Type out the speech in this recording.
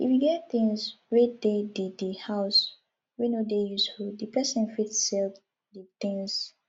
if you get things wey de the the house wey no dey useful di person fit sell di things